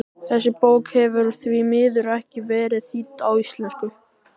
Þessi bók hefur því miður ekki verið þýdd á íslensku.